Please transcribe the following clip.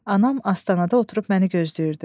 Anam astanada oturub məni gözləyirdi.